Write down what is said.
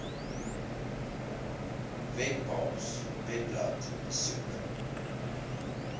webpals webblad besoek